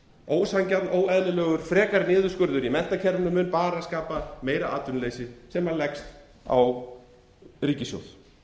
ósanngjarn óeðlilegur frekari niðurskurður í menntakerfinu mun skapa meira atvinnuleysi sem leggst á ríkissjóð